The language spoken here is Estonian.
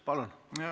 Palun!